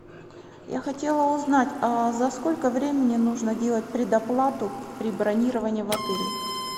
я хотела узнать а за сколько времени нужно делать предоплату при бронировании в отеле